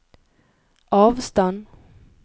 avstand